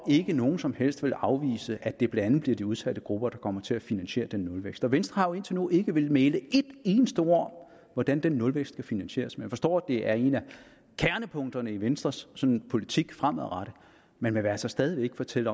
ikke at nogen som helst vil afvise at det blandt andet bliver de udsatte grupper der kommer til at finansiere den nulvækst venstre har jo indtil nu ikke villet mæle ét eneste ord om hvordan den nulvækst skal finansieres jeg forstår at det er et af kernepunkterne i venstres politik fremadrettet men man vil altså stadig væk ikke fortælle